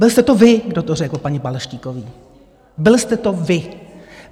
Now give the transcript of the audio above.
Byl jste to vy, kdo to řekl paní Balaštíkové, byl jste to vy.